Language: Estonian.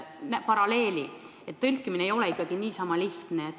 Toon siin paralleeliks kas või inglise keele tõlkimise.